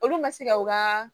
Olu ma se ka u ka